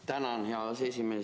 Tänan, hea aseesimees!